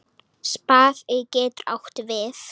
Spaði getur átt við